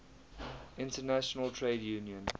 international trade union